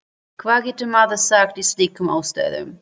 Hvað getur maður sagt í slíkum aðstæðum?